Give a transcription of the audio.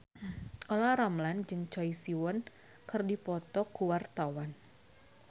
Olla Ramlan jeung Choi Siwon keur dipoto ku wartawan